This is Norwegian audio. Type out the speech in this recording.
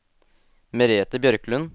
Merete Bjørklund